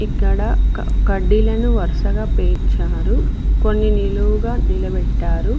ఇక్కడ కడ్డీలను వరుసగా పేర్చారు కొన్ని నిలువుగా నిలబెట్టారు.